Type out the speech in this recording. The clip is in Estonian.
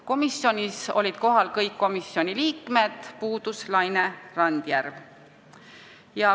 Kohal olid peaaegu kõik komisjoni liikmed, puudus vaid Laine Randjärv.